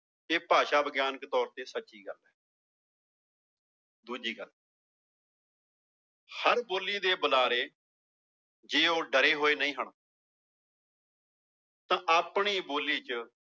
ਇਹ ਭਾਸ਼ਾ ਵਿਗਿਆਨਕ ਤੌਰ ਤੇ ਸੱਚੀ ਗੱਲ ਹੈ ਦੂਜੀ ਗੱਲ ਹਰ ਬੋਲੀ ਦੇ ਬੁਲਾਰੇ ਜੇ ਉਹ ਡਰੇ ਹੋਏ ਨਹੀਂ ਹਨ ਤਾਂ ਆਪਣੀ ਬੋਲੀ ਚ